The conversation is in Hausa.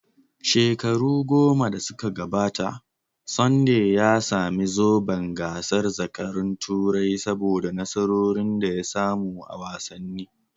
Shekaru goma da suka gabata, Sunday ya sami zoben gasar zakarun Turai saboda nasarorin da ya samu a wasanni.